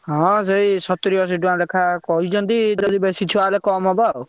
ହଁ ସେଇ ସତୁରୀ ଅଶି ଟଙ୍କା ଲେଖା କହିଛନ୍ତି ଯଦି ବେଶୀ ଛୁଆ ହେବେ କମ୍ ହବ ଆଉ।